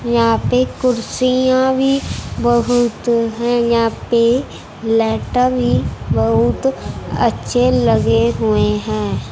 यहां पे कुर्सियां भी बहुत है यहां पे भी बहुत अच्छे लगे हुए हैं।